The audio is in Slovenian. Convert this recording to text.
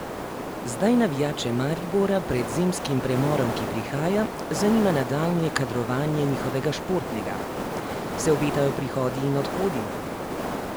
Zdaj navijače Maribora pred zimskim premorom, ki prihaja, zanima nadaljnje kadrovanje njihovega športnega Se obetajo prihodi in odhodi?